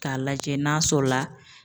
K'a lajɛ n'a sɔrɔ la.